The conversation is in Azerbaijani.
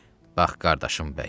Bax qardaşım bəy.